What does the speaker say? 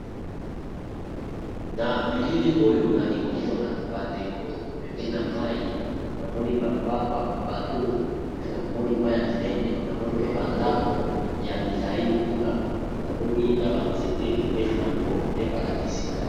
Na bilili oyo nali komona ba ndeko pembeni na mayi namoni ba bato pe namoni mai ya munene, namoni mpe ba ndako ya milayi kuna namoni na ba nzete pembeni nango nde ba lakisi ngai.